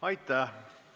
Aitäh!